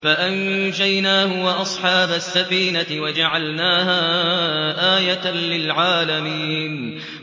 فَأَنجَيْنَاهُ وَأَصْحَابَ السَّفِينَةِ وَجَعَلْنَاهَا آيَةً لِّلْعَالَمِينَ